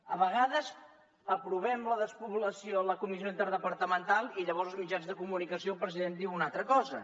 a vegades aprovem la despoblació a la comissió interdepartamental i llavors als mitjans de comunicació el president diu una altra cosa